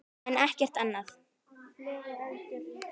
en ekkert annað.